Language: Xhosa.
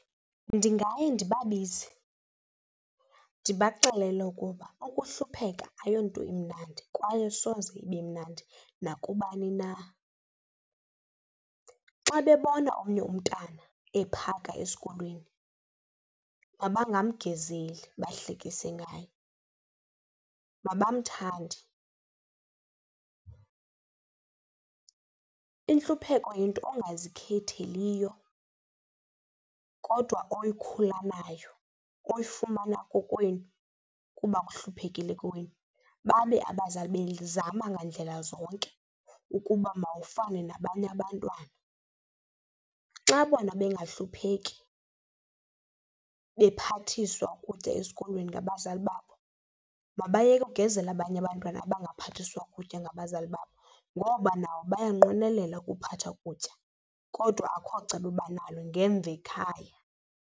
Ndingaye ndibabize ndibaxelele ukuba ukuhlupheka ayonto imnandi kwaye asoze ibe mnandi nakubani na. Xa bebona omnye umntana ephaka esikolweni mabangamgezeli bahlekise ngaye, mabamthande. Intlupheko yinto ongazikhetheliyo kodwa okhula nayo, oyifumana kokwenu kuba kuhluphekile kowenu, babe abazali bezama ngandlela zonke ukuba mawufane nabanye abantwana. Xa bona bengahlupheki bephathiswa ukutya esikolweni ngabazali babo, mabayeke akugezele abanye abantwana abangaphathiswa kutya ngabazali babo ngoba nabo bayanqwenelela akuphatha ukutya kodwa akho cebo banalo ngemva ekhaya.